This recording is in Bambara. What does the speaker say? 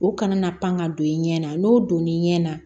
O kana na pan ka don i ɲɛ na n'o donna i ɲɛ na